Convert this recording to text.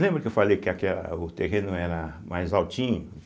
Lembra que eu falei que aquela o terreno era mais altinho?